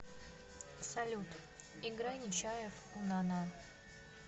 салют играй нечаев унана